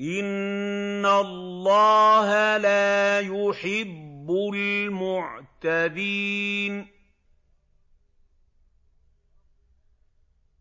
إِنَّ اللَّهَ لَا يُحِبُّ الْمُعْتَدِينَ